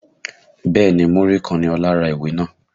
Bẹ́ẹ̀ni Múrí kan ni Ọlá ra ìwé náà